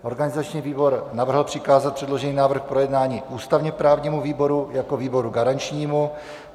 Organizační výbor navrhl přikázat předložený návrh k projednání ústavně-právnímu výboru jako výboru garančnímu.